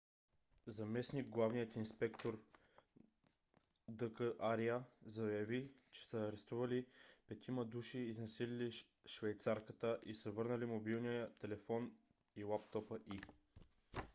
заместник - главният инспектор д. к. ария заяви че са арестували петимата души изнасилили швейцарката и са върнали мобилния телефон и лаптопа ѝ